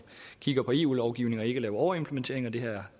kigger på eu lovgivningen og ikke lave en overimplementering det her er